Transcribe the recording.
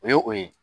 O ye o ye